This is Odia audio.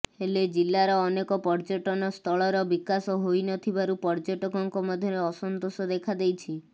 ହେଲେ ଜିଲ୍ଲାର ଅନେକ ପର୍ଯ୍ୟଟନ ସ୍ଥଳର ବିକାଶ ହୋଇନଥିବାରୁ ପର୍ଯ୍ୟଟକଙ୍କ ମଧ୍ୟରେ ଅସନ୍ତୋଷ ଦେଖାଦେଇଛି